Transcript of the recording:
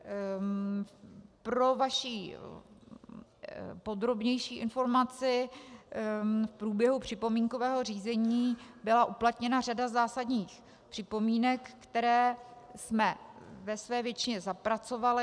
Pro vaši podrobnější informaci, v průběhu připomínkového řízení byla uplatněna řada zásadních připomínek, které jsme ve své většině zapracovali.